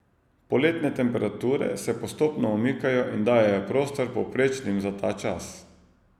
Poletne temperature se postopno umikajo in dajejo prostor povprečnim za ta čas.